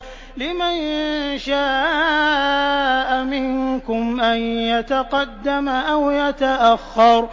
لِمَن شَاءَ مِنكُمْ أَن يَتَقَدَّمَ أَوْ يَتَأَخَّرَ